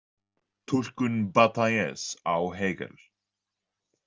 Túlkun Batailles á Hegel.